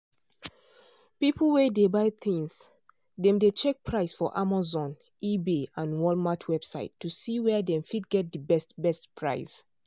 people wey dey buy things dem dey check price for amazon ebay and walmart website to see where dem fit get de best best price.